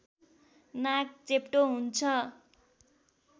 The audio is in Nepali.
नाक चेप्टो हुन्छ